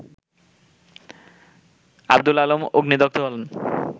আব্দুল আলম অগ্নিদগ্ধ হন